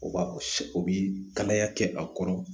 O b'a o bi kalaya kɛ a kɔrɔ